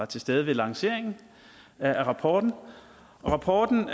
til stede ved lanceringen af rapporten rapporten